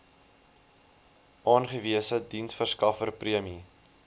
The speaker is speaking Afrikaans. aangewese diensverskaffer prime